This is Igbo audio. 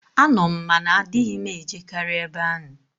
Ano m, ma na adịghị m e jekarị ebe ahụ.